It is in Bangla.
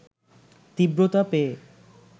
তীব্রতা পেয়ে